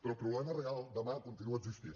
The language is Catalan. però el problema real demà continua existint